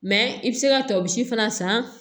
i bɛ se ka tɔsi fana san